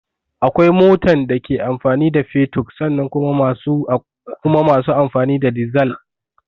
Akwai motan da ke amfani da fetur sannan kuma masu amfani da dizal